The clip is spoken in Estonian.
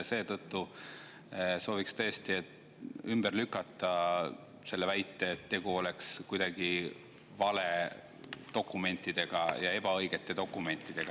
Seetõttu soovin tõesti ümber lükata selle väite, et tegu oleks kuidagi valedokumentidega või ebaõigete dokumentidega.